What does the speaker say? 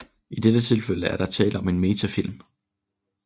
I dette tilfælde er der tale om en metafilm